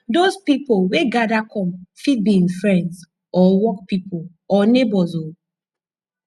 dose pipo weh gada kom fit bi em friends or work pipo or neibors o